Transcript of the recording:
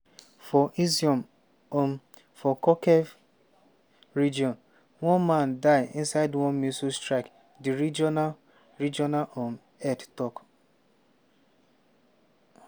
for izyum um for kharkiv region one man die inside one missile strike di regional regional um head tok.